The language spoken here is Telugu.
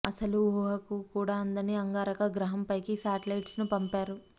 అసలు ఊహకు కూడా అందని అంగారక గ్రాహంపైకి శాటిలైట్స్ ను పంపారు